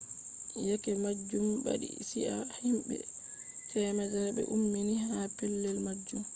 yeke majum badi chi'a himbe 100 be ummini ha pellel majum